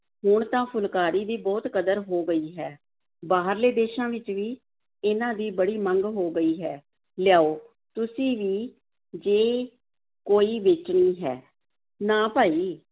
ਹੁਣ ਤਾਂ ਫੁਲਕਾਰੀ ਦੀ ਬਹੁਤ ਕਦਰ ਹੋ ਗਈ ਹੈ, ਬਾਹਰਲੇ ਦੇਸਾਂ ਵਿੱਚ ਵੀ ਇਹਨਾਂ ਦੀ ਬੜੀ ਮੰਗ ਹੋ ਗਈ ਹੈ, ਲਿਆਓ, ਤੁਸੀਂ ਵੀ ਜੇ ਕੋਈ ਵੇਚਣੀ ਹੈ, ਨਾ ਭਾਈ